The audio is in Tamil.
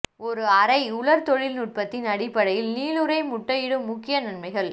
ஒரு அரை உலர் தொழில்நுட்பத்தின் அடிப்படையில் நீளுரை முட்டையிடும் முக்கிய நன்மைகள்